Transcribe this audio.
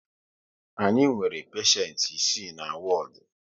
Anyị nwere peshent isii na wodu